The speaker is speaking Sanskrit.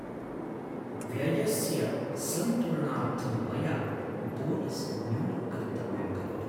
व्ययस्य सन्तुलनार्थं मया बोनस् न्यूनं कर्तव्यं भवति।